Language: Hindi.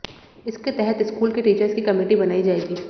इसके तहत स्कूल के टीचर्स की कमिटी बनाई जाएगी